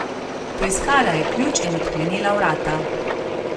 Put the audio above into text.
Poiskala je ključ in odklenila vrata.